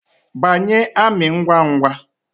Banye amị ngwa ngwa